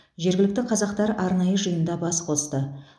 жергілікті қазақтар арнайы жиында бас қосты